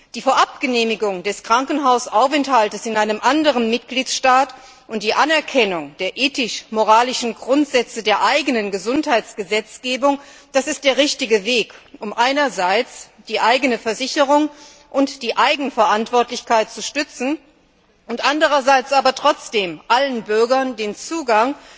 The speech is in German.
Die Vorabgenehmigung des Krankenhausaufenthaltes in einem anderen Mitgliedstaat und die Anerkennung der ethisch moralischen Grundsätze der eigenen Gesundheitsgesetzgebung sind der richtige Weg, um einerseits die eigene Versicherung und die Eigenverantwortlichkeit zu stützen, andererseits aber trotzdem allen Bürgern den Zugang